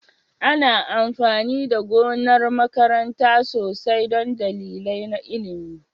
Ana amfani da gonar makaranta sosai don dalilai na ilimi?